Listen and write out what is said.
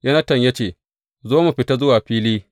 Yonatan ya ce, Zo mu fita zuwa fili.